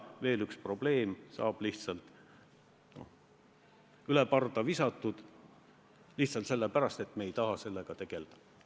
Veel üks probleem saab üle parda visatud lihtsalt sellepärast, et me ei taha sellega tegelda.